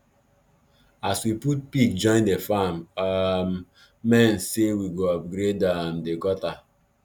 as we put pig join the farm um men say we go upgrade um the gutter